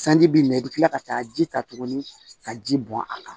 Sanji bi minɛ i bɛ kila ka taa ji ta tuguni ka ji bɔn a kan